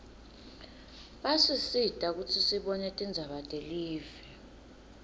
basisita kutsi sibone tindzaba telive